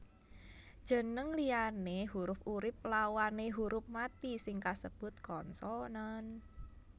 Jeneng liyane hurup urip lawané huruf mati sing kasebut konsonan